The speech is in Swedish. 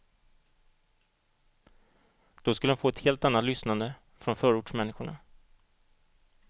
Då skulle de få ett helt annat lyssnande från förortsmänniskorna.